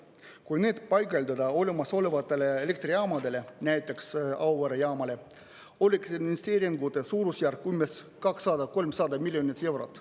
Kui need paigaldada olemasolevatele elektrijaamadele, näiteks Auvere jaamale, oleks investeeringute suurusjärk umbes 200–300 miljonit eurot.